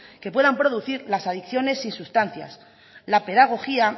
que puedan producir las adicciones y sustancias la pedagogía